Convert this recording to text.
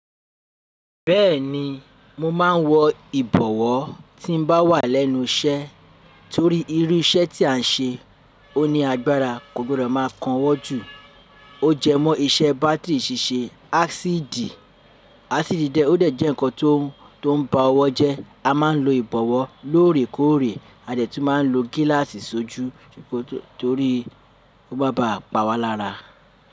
Bẹ́ẹ̀ni, mo máa ń wọ ìbọ̀wọ́ tí mo bá wà lẹ́nu iṣẹ́ torí irú iṣẹ́ tí à ń ṣe ó ní agbára kò gbọdọ̀ máa kan ọwọ́ jù. O jẹ mọ́ iṣẹ́ bátìrì ṣíṣe ásíìdì. Ásíìdì dẹ̀ ó dẹ̀ jẹ́ ǹkan tó ń ba ọwọ́ jẹ́. A máa ń lo ìbọ̀wọ́ lóòrèkóòrè, a dẹ̀ tún máa ń lo gíláàsì sójú torí kó má ba pàwá lára.